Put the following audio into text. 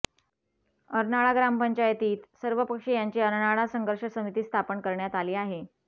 अर्नाळा ग्रामपंचायतीत सर्वपक्षीयांची अर्नाळा संघर्ष समिती स्थापन करण्यात आली आहे